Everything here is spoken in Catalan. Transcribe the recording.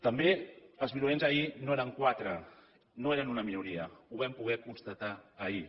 també els violents ahir no eren quatre no eren una minoria ho vam poder constatar ahir